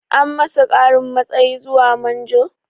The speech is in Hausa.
An masa ƙarin matsayi zuwa manjo?